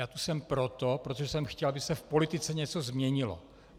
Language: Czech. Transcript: Já tu jsem proto, protože jsem chtěl, aby se v politice něco změnilo.